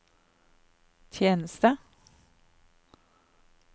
tjeneste